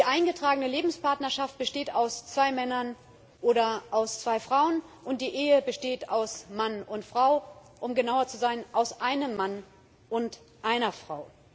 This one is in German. Die eingetragene Lebenspartnerschaft besteht aus zwei Männern oder aus zwei Frauen, und die Ehe besteht aus Mann und Frau um genauer zu sein aus einem Mann und einer Frau.